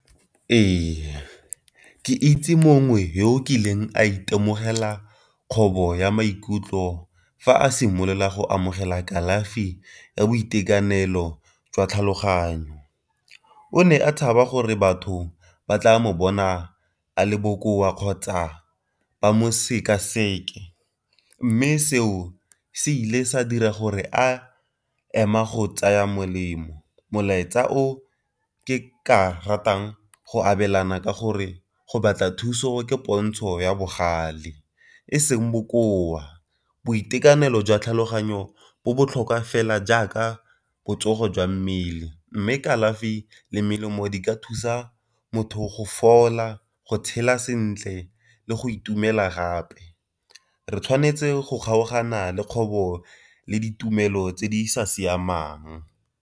Ee, ke itse mongwe yo o kileng a itemogela kgobo ya maikutlo fa a simolola go amogela kalafi ya boitekanelo jwa tlhaloganyo. O ne a tshaba gore batho ba tla mo bona a le boa kgotsa ba mosekaseke. Mme seo se ile sa dira gore a ema go tsaya molemo. Molaetsa o ke ka ratang go abelana ka gore go batla thuso ke pontsho ya bogale e seng bokoa, boitekanelo jwa tlhaloganyo bo botlhokwa fela jaaka botsogo jwa mmele, mme kalafi le melemo di ka thusa motho go fola go tshela sentle le go itumela gape. Re tshwanetse go kgaogana le kgobo le ditumelo tse di sa siamang.